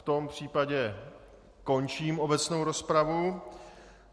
V tom případě končím obecnou rozpravu.